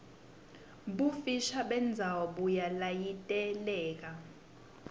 bufisha bendzawo buyalayiteleka